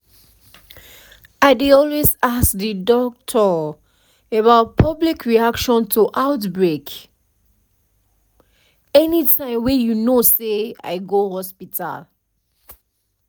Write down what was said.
i dey always ask the doctor about public reaction to outbreak anytym wey you know say i go hospital